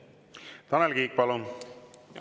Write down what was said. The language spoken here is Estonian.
Tanel Kiik, palun!